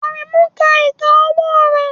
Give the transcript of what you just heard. Aremu ń ka ìka ọwọ́ rẹ̀